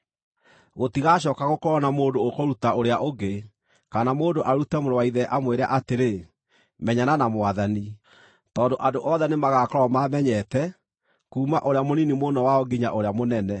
Gũtigacooka gũkorwo na mũndũ ũkũruta ũrĩa ũngĩ, kana mũndũ arute mũrũ wa ithe amwĩre atĩrĩ, ‘Menyana na Mwathani,’ tondũ andũ othe nĩmagakorwo maamenyete, kuuma ũrĩa mũnini mũno wao nginya ũrĩa mũnene.